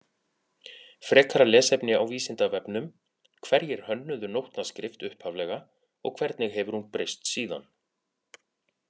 Frekara lesefni á Vísindavefnum Hverjir hönnuðu nótnaskrift upphaflega og hvernig hefur hún breyst síðan?